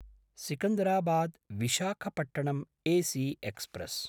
सिकन्दराबाद्–विशाखपट्टण् AC express